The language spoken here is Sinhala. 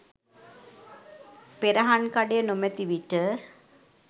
පෙරහන්කඩය නොමැති විට